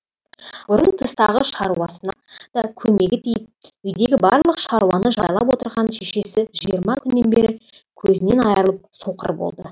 бұрын тыстағы шаруасына да көмегі тиіп үйдегі барлық шаруаны жайлап отырған шешесі жиырма күннен бері көзінен айрылып соқыр болды